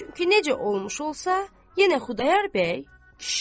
Çünki necə olmuş olsa, yenə Xudayar bəy kişidir.